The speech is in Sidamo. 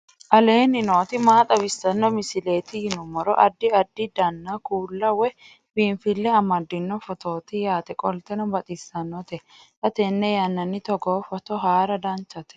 aleenni nooti maa xawisanno misileeti yinummoro addi addi dananna kuula woy biinfille amaddino footooti yaate qoltenno baxissannote xa tenne yannanni togoo footo haara danchate